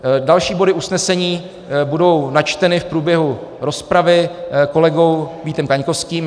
Další body usnesení budou načteny v průběhu rozpravy kolegou Vítem Kaňkovským.